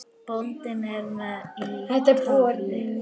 Bóndi er með í tafli.